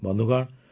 ବନ୍ଧୁଗଣ